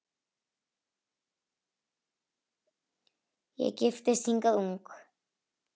Ég giftist hingað ung